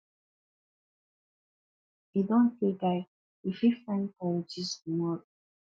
e don tey guy we fit find time gist tomorrow